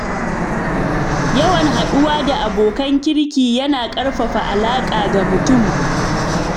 Yawan haɗuwa da abokan kirki yana ƙarfafa alaƙa ga mutum.